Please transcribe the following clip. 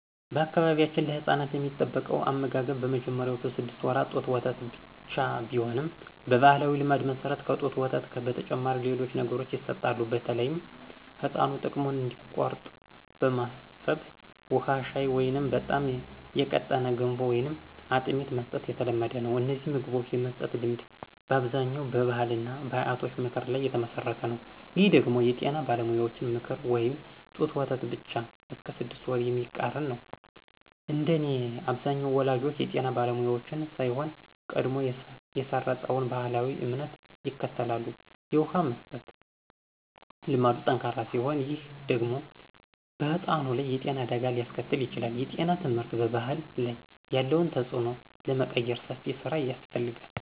በአካባቢያችን ለሕፃናት የሚጠበቀው አመጋገብ በመጀመሪያዎቹ ስድስት ወራት ጡት ወተት ብቻ ቢሆንም፣ በባሕላዊ ልማድ መሠረት ከጡት ወተት በተጨማሪ ሌሎች ነገሮች ይሰጣሉ። በተለይም ሕፃኑ ጥሙን እንዲቆርጥ በማሰብ ውሃ፣ ሻይ ወይም በጣም የቀጠነ ገንፎ ወይም አጥሚት መስጠት የተለመደ ነው። እነዚህን ምግቦች የመስጠት ልማድ በአብዛኛው በባሕልና በአያቶች ምክር ላይ የተመሠረተ ነው። ይህ ደግሞ የጤና ባለሙያዎችን ምክር (ጡት ወተት ብቻ እስከ ስድስት ወር) የሚቃረን ነው። እንደኔ አብዛኛው ወላጆች የጤና ባለሙያዎችን ሳይሆን፣ ቀድሞ የሰረፀውን ባሕላዊ እምነት ይከተላሉ። የውሃ መስጠት ልማዱ ጠንካራ ሲሆን፣ ይህ ደግሞ በሕፃኑ ላይ የጤና አደጋ ሊያስከትል ይችላል። የጤና ትምህርት በባሕል ላይ ያለውን ተጽዕኖ ለመቀየር ሰፊ ሥራ ያስፈልጋል።